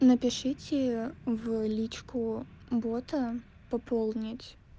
напишите в личку бота пополнить